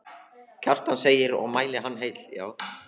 Kjartan segir og mæli hann heill.